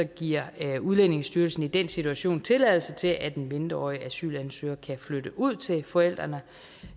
giver udlændingestyrelsen i den situation tilladelse til at en mindreårig asylansøger kan flytte ud til forældrene